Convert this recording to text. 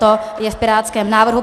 To je v pirátském návrhu.